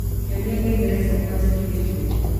nyonia ngengere ciakwa njĩkĩrĩte